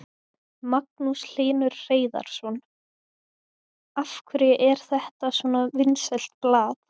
Magnús Hlynur Hreiðarsson: Af hverju er þetta svona vinsælt blað?